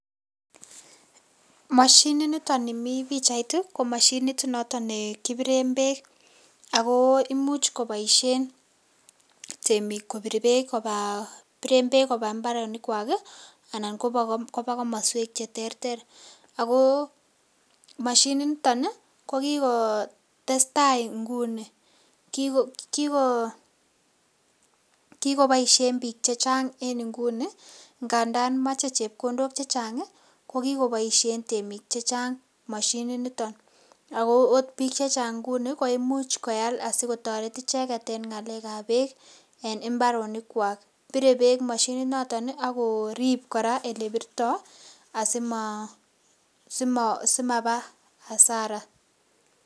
Moshininiton nimii pichait niton ko Mashinit noto ne kipiren beek ako imuch koboishet temik kobir beek koba biren beek koba imbaronik kwak kii ana koba komoswek cheterter ako moshinit niton ko kikotesetai nguni Kiko kokiboishen bik che chang en nguni ngandan moche chepkondok chechangi ko kikeboishen temik chechang moshinit niton ako ot bik chechang nguni ko. Imuch koal sikotoret icheket en ngalekab beek en imbaronik kwak bore beek moshininoton nii ako akorib Koraa olebirto asima Simaba asara.